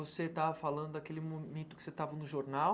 Você estava falando daquele momento que você estava no jornal.